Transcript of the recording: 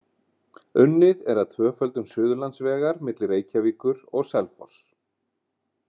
Unnið er að tvöföldun Suðurlandsvegar milli Reykjavíkur og Selfoss.